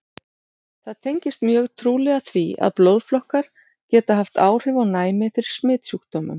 Það tengist mjög trúlega því, að blóðflokkar geta haft áhrif á næmi fyrir smitsjúkdómum.